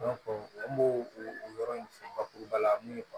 an b'o o yɔrɔ in fɔ bakuruba la mun ye